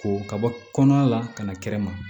Ko ka bɔ kɔnɔ la ka na kɛnɛ ma